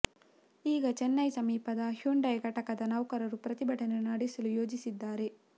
ಈಗ ಚೆನ್ನೈ ಸಮೀಪದ ಹ್ಯುಂಡೈ ಘಟಕದ ನೌಕರರು ಪ್ರತಿಭಟನೆ ನಡೆಸಲು ಯೋಜಿಸಿದ್ದಾರೆ